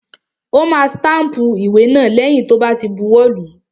Ó ma stámpù ìwé náà lẹ́yìn tó bá ti buwọ́ lùú.